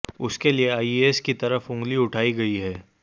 उसके लिए आईएसआई की तरफ उंगली उठाई गई है